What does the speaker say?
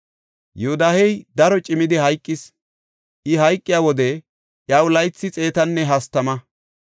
Yoodahey daro cimmidi hayqis; I hayqiya wode iyaw laythi xeetanne hastama.